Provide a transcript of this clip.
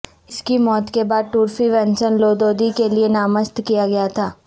اس کی موت کے بعد ٹورفی ونسن لودودی کے لئے نامزد کیا گیا تھا